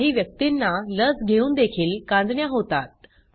काही व्यक्तींना लस घेऊन देखील कांजिण्या होतात